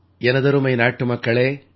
எனதருமை நாட்டுமக்களே